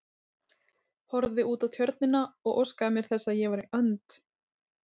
Horfði út á Tjörnina og óskaði mér þess að ég væri önd.